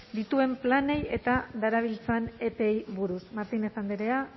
dituen planei eta darabiltzan epeei buruz martínez andrea